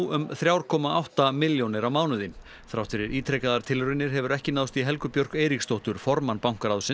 um þrjú komma átta milljónir á mánuði þrátt fyrir ítrekaðar tilraunir hefur ekki náðst í Helgu Björk Eiríksdóttur formann bankaráðs